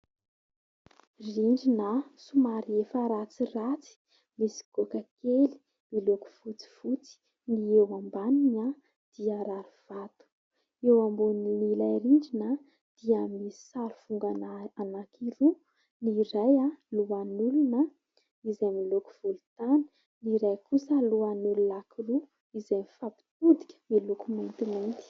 Rindrina somary efa ratsiratsy, misy goaka kely miloko fotsifotsy, ny eo ambaniny dia rarivato. Ny eo ambonin'ilay rindrina dia misy sarivongana anankiroa : ny iray lohan'olona izay miloko volontany, ny iray kosa lohan'olona anankiroa izay mifampitodika miloko maintimainty.